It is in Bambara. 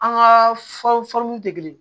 An ka fɔliw tɛ kelen ye